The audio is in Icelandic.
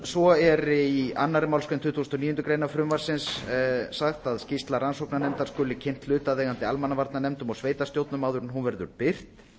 svo er í annarri málsgrein tuttugustu og níundu grein frumvarpsins sagt að skýrsla rannsóknarnefndar skuli kynnt hlutaðeigandi almannavarnanefndum og sveitarstjórnum áður en hún verður birt